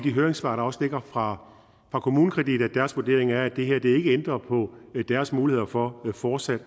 i høringssvaret fra kommunekredit at deres vurdering er at det her ikke ændrer på deres muligheder for fortsat